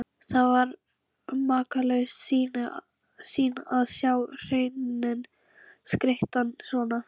Það var makalaus sýn að sjá hreininn skreyttan svona.